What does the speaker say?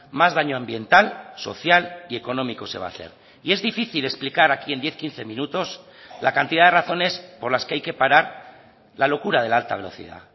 más daño ambiental social y económico se va a hacer y es difícil explicar aquí en diez quince minutos la cantidad de razones por las que hay que parar la locura de la alta velocidad